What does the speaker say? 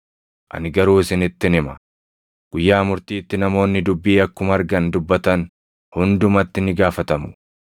Ani garuu isinittin hima; guyyaa murtiitti namoonni dubbii akkuma argan dubbatan hundumatti ni gaafatamu.